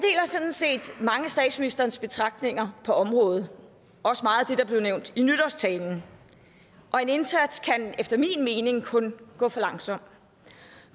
sådan set mange af statsministerens betragtninger på området også meget af det der blev nævnt i nytårstalen og en indsats kan efter min mening kun gå for langsomt